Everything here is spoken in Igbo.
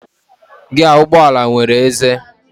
Giaa ụgbọala nwere ézé.